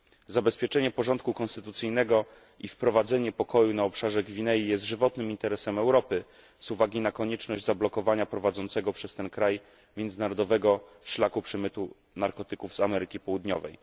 Zabezpieczenie porządku konstytucyjnego i wprowadzenie pokoju na obszarze Gwinei jest żywotnym interesem Europy z uwagi na konieczność zablokowania prowadzącego przez ten kraj międzynarodowego szlaku przemytu narkotyków z Ameryki Południowej.